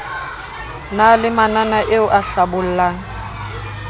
na le mananaeo a hlabollang